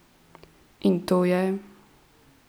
In to je?